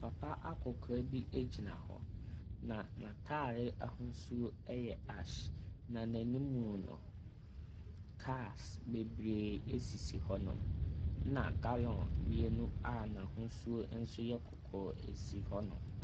Papa akɔkora bi egyina hɔ. Na n'atare ahosuo ɛyɛ ahye. Na n'anim no, kaa bebree esisi hɔnom. Ɛna galɔn mmienu a n'ahosuo nso yɛ kɔkɔɔ esi hɔnom.